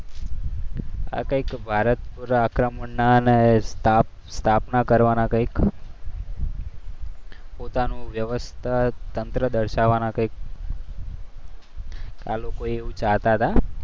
ભારત પર આક્રમણ કરવાના અને સ્થાપના કરવાના કંઈક પોતાનું વ્યવસ્થા તંત્ર દર્શાવવાના કંઈક આ લોકો એવું ચાહતા હતા.